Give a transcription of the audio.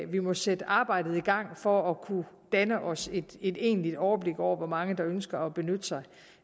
vi må sætte arbejdet i gang for at kunne danne os et egentligt overblik over hvor mange der ønsker at benytte sig